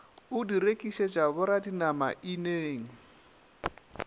o di rekišetša boradinama ineng